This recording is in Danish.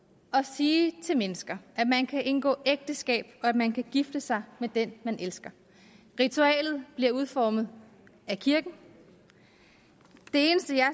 at sige til mennesker at man kan indgå ægteskab og at man kan gifte sig med den man elsker ritualet bliver udformet af kirken det eneste jeg